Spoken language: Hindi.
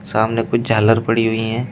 सामने कुछ झालर पड़ी हुई हैं।